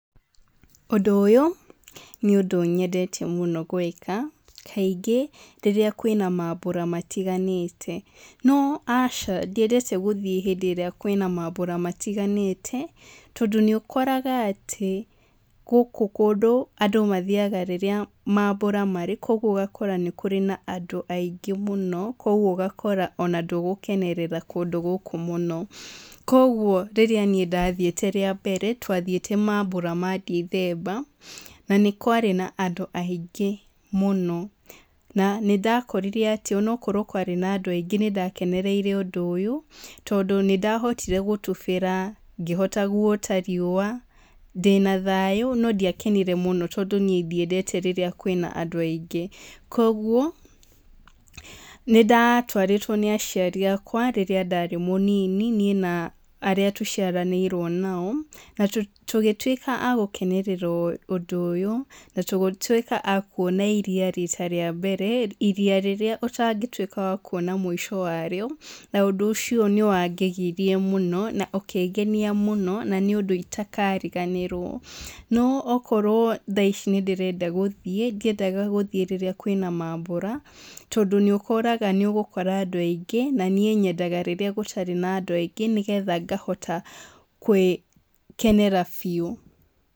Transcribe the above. Ũndũ ũyũ, nĩ ũndũ nyendete mũno gwĩka, kaingĩ rĩrĩa kwĩna mambũra matiganĩte, no aca, ndiendete gũthiĩ hĩndĩ ĩrĩa kwĩna mambũra matiganĩte, tondũ nĩ ũkoraga atĩ, gũkũ kũndũ andũ mathiaga rĩrĩa mambũra marĩ, koguo ũgakora nĩ kũrĩ na andũ aingĩ mũno, koguo ũgakora ona ndũgũkenerera kũndũ gũkũ mũno koguo rĩrĩa niĩ ndathiĩte rĩa mbere, twathiĩte mambũra ma ndithemba, na nĩkwarĩ na andũ aingĩ mũno, na nĩndakorire atĩ onokwarwo kwarĩ na andũ aingĩ nĩndakenereire ũndũ ũyũ, tondũ nĩndahotire gũtubĩra, ngĩhota guota riua ndĩna thayũ, no ndiakenire mũno tondũ niĩ ndiendete rĩrĩa kwĩna andũ aingĩ. Koguo, nĩndatwarĩtwo nĩ aciari akwa rĩrĩa ndarĩ mũnini, niĩ na arĩa tũciaranĩirwo nao, natũgĩtuĩka a gũkenerera ũndũ ũyũ, natũgĩtuĩka a kuona iria rita rĩa mbere, iria rĩrĩa ũtangĩtuĩka wa kuona mũico warĩo, na ũndũ ũcio nĩwangegirie mũno, na ũkĩngenia mũno, na nĩũndũ itakariganĩrwo, no okorwo thaici nĩndĩrenda gũthiĩ, ndiendaga gũthiĩ rĩrĩa kwĩna mambũra, tondũ nĩũkoraga nĩũgũkora andũ aingĩ, na nĩĩ nyendaga rĩrĩa gũtarĩ na andũ aingĩ nĩgetha ngahota gwĩkenera biũ.